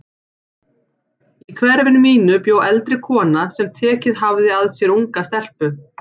Í hverfinu mínu bjó eldri kona sem tekið hafði að sér unga stelpu.